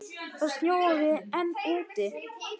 Það snjóaði enn úti.